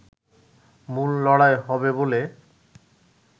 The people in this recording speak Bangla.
মূল লড়াই হবে বলে